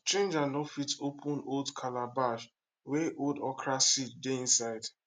stranger no fit open calabash wey old okra seed dey inside